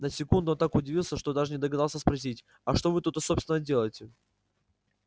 на секунду он так удивился что даже не догадался спросить а что вы тут собственно делаете